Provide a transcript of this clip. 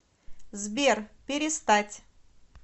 сбер перестать